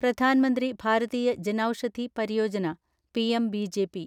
Pradhan Mantri Bharatiya Janaushadhi Pariyojana’ PMBJP